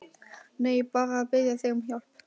Nei, bara að biðja þig um hjálp.